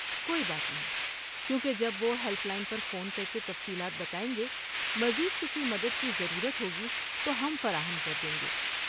کوئی بات نہیں، کیونکہ جب وہ ہیلپ لائن پر فون کرکے تفصیلات بتائیں گے، مزید کسی مدد کی ضرورت ہوگی تو ہم فراہم کر دیں گے۔